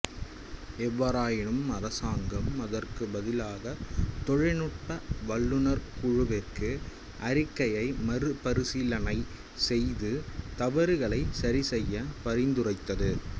எவ்வாறாயினும் அரசாங்கம் அதற்குப் பதிலாகத் தொழில்நுட்ப வல்லுநர் குழுவிற்கு அறிக்கையை மறுபரிசீலனை செய்து தவறுகளைச் சரிசெய்யப் பரிந்துரைத்தது